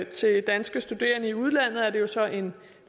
til danske studerende i udlandet er det jo så en